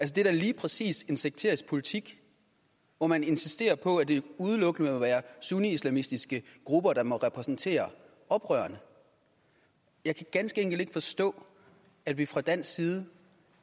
det er da lige præcis en sekterisk politik hvor man insisterer på at det udelukkende må være sunniislamistiske grupper der må repræsentere oprørerne og jeg kan ganske enkelt ikke forstå at vi fra dansk side